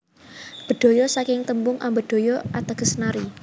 Bedhaya saking tembung ambedhaya ateges nari